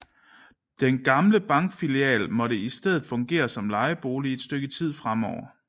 Den gamle bankfilial måtte i stedet fungere som lejebolig et stykke tid fremover